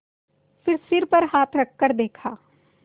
फिर सिर पर हाथ रखकर देखा